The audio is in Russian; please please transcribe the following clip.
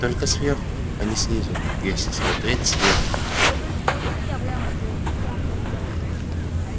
только сверху а не снизу если смотреть сверху